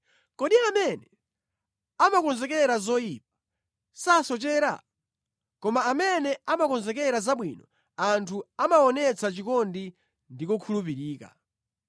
Kodi amene amakonzekera zoyipa sasochera? Koma amene amakonzekera zabwino anthu amawaonetsa chikondi ndi kukhulupirika.